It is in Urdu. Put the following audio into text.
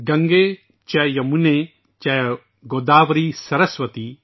گنگے چا جمنا چیو گوداوری سرسوتی